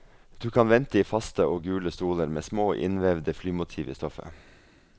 Du kan vente i faste og gule stoler med små innvevede flymotiv i stoffet.